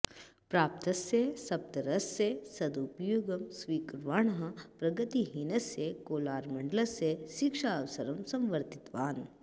प्राप्तस्य सदवसरस्य सदुपयोगं स्वीकुर्वाणः प्रगतिहीनस्य कोलारमण्डलस्य शिक्षावसरं संवर्धितवान्